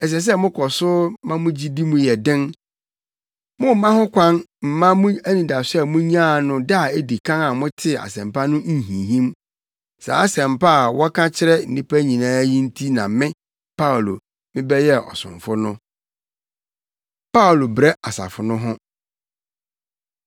Ɛsɛ sɛ mokɔ so ma mo gyidi mu yɛ den. Mommma ho kwan mma mo anidaso a munyaa no da a edi kan a motee Asɛmpa no nhinhim. Saa Asɛmpa a wɔka kyerɛ nnipa nyinaa yi nti na me, Paulo, mebɛyɛɛ ɔsomfo no. Paulo Brɛ Asafo No Ho